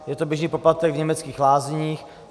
Je to běžný poplatek v německých lázních.